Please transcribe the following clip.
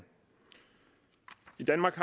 i danmark